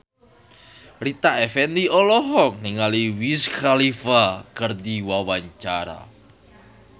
Rita Effendy olohok ningali Wiz Khalifa keur diwawancara